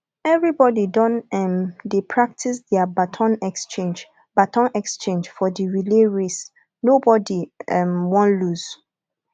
everybodi don um dey practice their baton exchange baton exchange for di relay race nobodi um wan loose